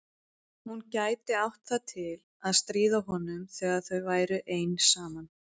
Hún gæti átt það til að stríða honum þegar þau væru ein saman.